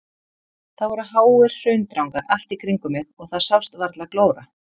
Það voru háir hraundrangar allt í kringum mig og það sást varla glóra.